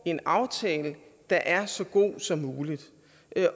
en aftale der er så god som muligt